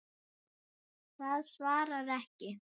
Það svarar ekki.